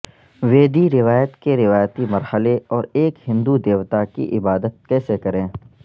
ویدی روایت کے روایتی مرحلے اور ایک ہندو دیوتا کی عبادت کیسے کریں